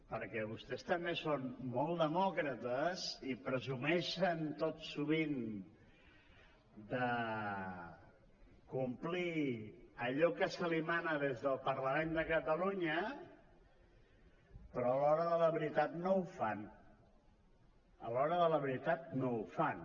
perquè vostès també són molt demòcrates i presumeixen tot sovint de complir allò que se’ls mana des del parlament de catalunya però a l’hora de la veritat no ho fan a l’hora de la veritat no ho fan